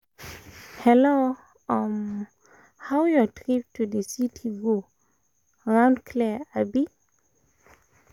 hello um how your um trip to the city go? road clear abi? um